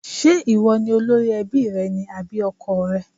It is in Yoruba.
Ṣé ìwọ ni olórí ẹbí rẹ ni àbí ọkọọ̀ rẹ?